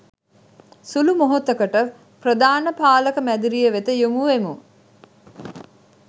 සුළු මොහොතකට ප්‍රධාන පාලක මැදිරිය වෙත යොමුවෙමු